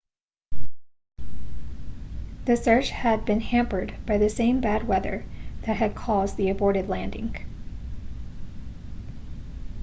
the search had been hampered by the same bad weather that had caused the aborted landing